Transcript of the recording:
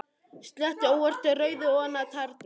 Sletti óvart rauðu ofan á tærnar.